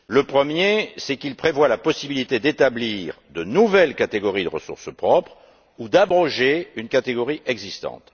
Premièrement, il prévoit la possibilité d'établir de nouvelles catégories de ressources propres ou d'abroger une catégorie existante.